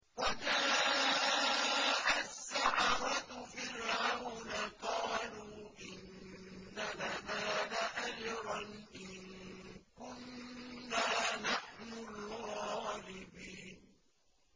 وَجَاءَ السَّحَرَةُ فِرْعَوْنَ قَالُوا إِنَّ لَنَا لَأَجْرًا إِن كُنَّا نَحْنُ الْغَالِبِينَ